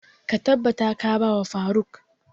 Ka tabbata ka ba wa faruk!